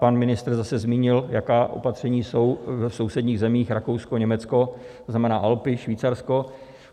Pan ministr zase zmínil, jaká opatření jsou v sousedních zemích, Rakousko, Německo, to znamená Alpy, Švýcarsko.